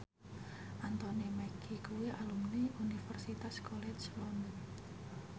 Anthony Mackie kuwi alumni Universitas College London